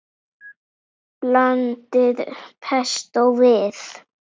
Blandið pestó við.